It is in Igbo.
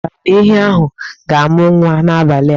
E chefukwala na ehi ahụ ga-amụ nwa n'abalị a.